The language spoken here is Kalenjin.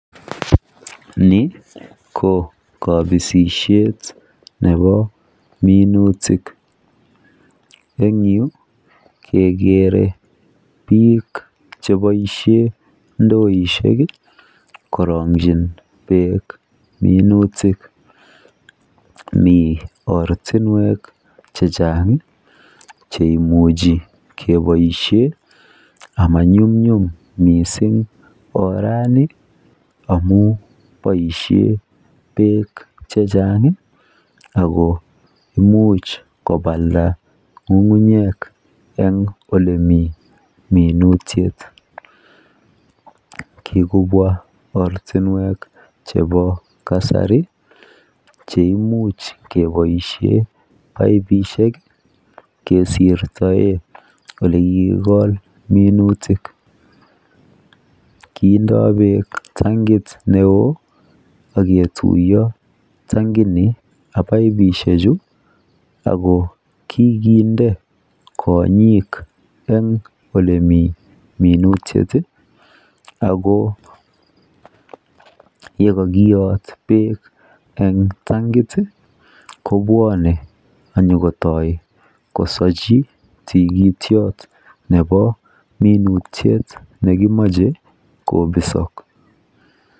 ni ko kobisisyet nebo minutik, en yuu kegere biik cheboishen ndoishek iih koronyi beek minutik, mii ortinweek chechang iih cheimuche keboishen, amanyumnyum mising orani amuun boishen beek chechang iih ago imuuch kobalda ngungunyek en elemii minutik, kigobwa ortinweek chebo kasari cheimuch keboishen baibishek kesirtoe elekiigool minutik, kitindoo beek tangiit neoo ak ketuyo tangit ni ak baibishek chi ago kiginde konyiik en elemii minutik iih ago yegokiyoot beek en tangit iih kobwone anyakotoi nyagosochi tigityoot nebo minutyet nekimoche kobisook